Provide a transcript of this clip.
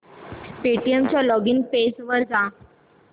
Paytm च्या login page वर जा